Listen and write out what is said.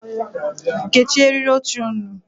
Kechie eriri oche ụnụ.